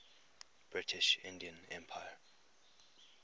british indian empire